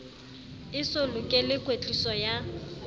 e so lokele kwetliso ya